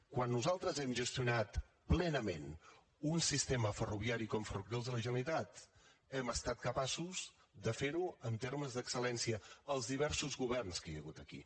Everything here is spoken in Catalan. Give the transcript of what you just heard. quan nosaltres hem gestionat plenament un sistema ferroviari com ferrocarrils de la generalitat hem estat capaços de fer ho en termes d’excel·lència els diversos governs que hi ha hagut aquí